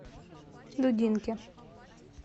дудинке